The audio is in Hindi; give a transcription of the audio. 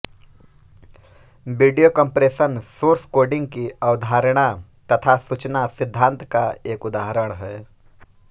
वीडियो कम्प्रेशन सोर्स कोडिंग की अवधारणा तथा सूचना सिद्धांत का एक उदाहरण है